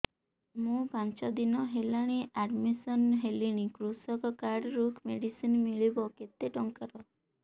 ମୁ ପାଞ୍ଚ ଦିନ ହେଲାଣି ଆଡ୍ମିଶନ ହେଲିଣି କୃଷକ କାର୍ଡ ରୁ ମେଡିସିନ ମିଳିବ କେତେ ଟଙ୍କାର